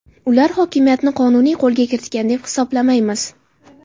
Ular hokimiyatni qonuniy qo‘lga kiritgan deb hisoblamaymiz.